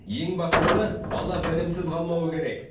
ең бастысы бала білімсіз қалмауы керек